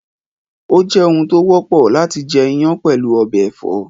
Ó jẹ́ oun tó wọ́pọ̀ láti jẹ iyán pẹ̀lú ọbẹ̀ ẹ̀fọ́